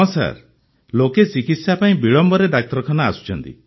ହଁ ସାର୍ ଲୋକେ ଚିକିତ୍ସା ପାଇଁ ବିଳମ୍ବରେ ଡାକ୍ତରଖାନା ଆସୁଛନ୍ତି